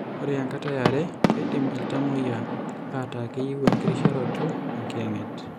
Ore enkata earata, keidim iltamuoyia aataakeyieu enkirisharoto enkiyang'et.